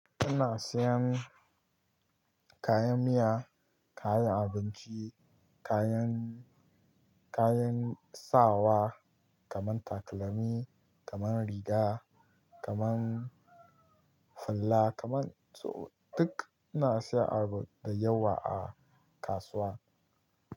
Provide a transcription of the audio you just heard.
Ina siyan kayan miya, kayan abinci, kayan, kayan sawa kaman takalami, kaman riga, kaman hula, kaman so duk ina siya da yawa a kasuwa.